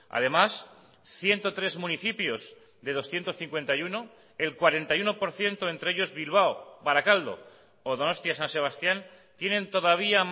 además ciento tres municipios de doscientos cincuenta y uno el cuarenta y uno por ciento entre ellos bilbao barakaldo o donostia san sebastián tienen todavía